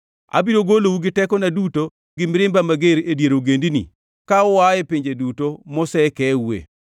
Abiro golou gi tekona duto gi mirimba mager e dier ogendini ka ua e pinje duto mosekeue.